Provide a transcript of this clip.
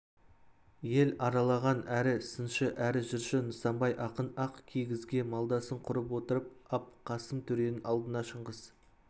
ел аралаған әрі сыншы әрі жыршы нысанбай ақын ақ кигізге малдасын құрып отырып ап қасым төренің алдында шыңғыс